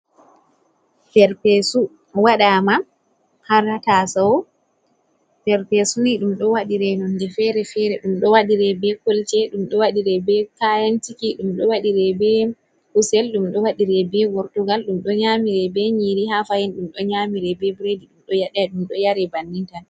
Perpeesu waɗaama haa taasawo, perpeesu ni ɗum do wadire nonde feere-feere, ɗum ɗo waɗiree bee kolce, ɗum ɗo wadiree bee kayantiki dumdo wadire be kusel, ɗum ɗo wadiree bee gortugal, ɗum ɗo nyaamiree bee nyiiri haa fahin ɗum ɗo nyaamiree bee bireedi, ɗum ɗo ɗum ɗo yaree bannin tan.